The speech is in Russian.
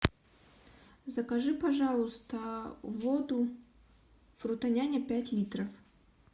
закажи пожалуйста воду фрутоняня пять литров